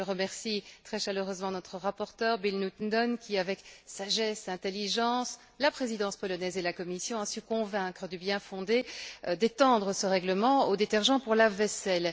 Je remercie très chaleureusement notre rapporteur, Bill Newton Dunn, qui, avec sagesse et intelligence, avec la Présidence polonaise et la Commission, a su convaincre du bien fondé d'étendre ce règlement aux détergents pour lave vaisselle.